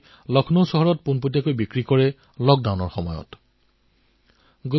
তেওঁলোকেও লকডাউনৰ সময়ছোৱাত কৃষকৰ খেতিৰ পৰা পোনে পোনে ফল আৰু শাকপাচলি ক্ৰয় কৰি লক্ষ্ণৌৰ বজাৰত বেচিছিল